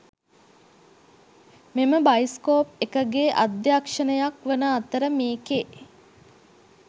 මෙම බයිස්කෝප් එකගේ අධ්‍යක්ෂණයක් වන අතර මේකේ.